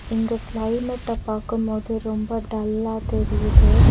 இங்க கிளைமேட்ட பாக்கும் போது ரொம்ப டல்லா தெரியிது.